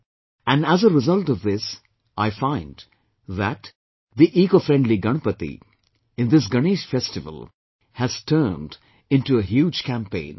And as a result of this I find that, the ecofriendly Ganpati, in this Ganesh Festival has turned into a huge campaign